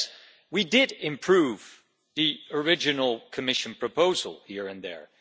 Yes, we did improve the original Commission proposal here and there.